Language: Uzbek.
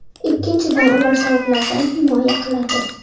Ikkinchidan, ular sovuqlardan himoya qiladi.